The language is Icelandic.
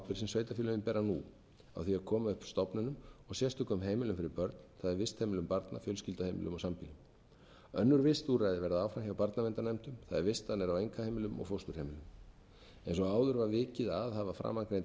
sem sveitarfélögin bera nú á því að koma upp stofnunum og sérstökum heimilum fyrir börn það er vistheimilum barna fjölskylduheimilum og sambýli önnur vistúrræði verða áframhjá barnaverndarnefndum það er vistanir á einkaheimilum og fósturheimilum eins og áður var vikið að hafa framangreind heimili og stofnanir í raun